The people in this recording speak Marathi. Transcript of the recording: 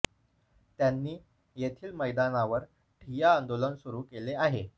त्यांनी येथील मैदानावर ठिय्या आंदोलन सुरू केले आहे